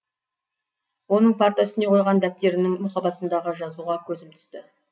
оның парта үстіне қойған дәптерінің мұқабасындағы жазуға көзім түсті